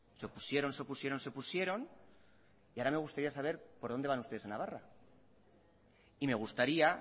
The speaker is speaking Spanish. se opusieron se opusieron se opusieron y ahora me gustaría saber por dónde van ustedes a navarra y me gustaría